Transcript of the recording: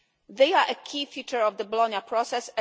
They are a key feature of the Bologna Process.